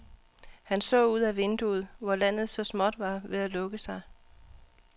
Han så ud ad vinduet, hvor landet så småt var ved at lukke sig.